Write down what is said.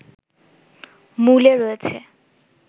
মূলে রয়েছে